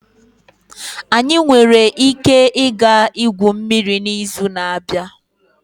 Anyị nwere ike ịga igwu mmiri n'izu na-abịa?